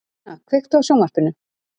Guðna, kveiktu á sjónvarpinu.